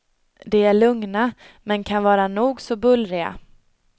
De är lugna, men kan vara nog så bullriga.